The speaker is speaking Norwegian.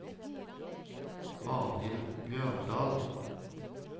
Arnhild Bjørndal